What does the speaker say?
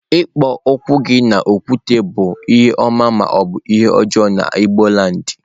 Iku ukwu gi n'okwute bu ihe oma ma obu ihe ojoo na igboland.